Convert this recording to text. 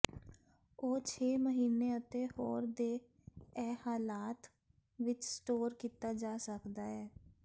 ਉਹ ਛੇ ਮਹੀਨੇ ਅਤੇ ਹੋਰ ਦੇ ਇਹ ਹਾਲਾਤ ਵਿੱਚ ਸਟੋਰ ਕੀਤਾ ਜਾ ਸਕਦਾ ਹੈ